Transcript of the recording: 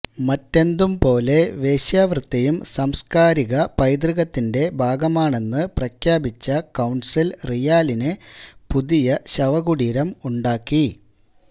മറ്റെന്തുംപോലെ വേശ്യവൃത്തിയും സാംസ്കാരിക പൈതൃകത്തിന്റെ ഭാഗമാണെന്നു പ്രഖ്യാപിച്ച കൌണ്സില് റിയാലിന് പുതിയ ശവകുടീരം ഉണ്ടാക്കി